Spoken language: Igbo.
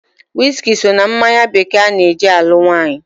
Wiski so na mmanya bekee ana-eji alụ nwaanyị.